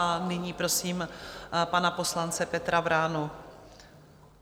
A nyní prosím pana poslance Petra Vránu.